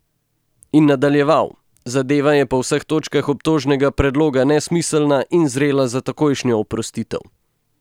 In nadaljeval: "Zadeva je po vseh točkah obtožnega predloga nesmiselna in zrela za takojšno oprostitev.